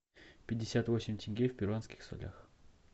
пятьдесят восемь тенге в перуанских солях